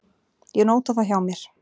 Ég nóta það hjá mér.